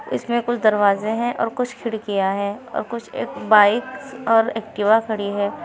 इसमें कुछ दरवाजे हैं और कुछ खिड़कियां हैं और कुछ एक बाइक और एक्टिवा खड़ी है।